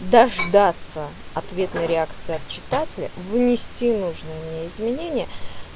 дождаться ответной реакции от читателя внести нужные мне изменения